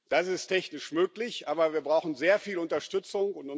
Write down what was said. Das ist technisch möglich, aber wir brauchen sehr viel Unterstützung.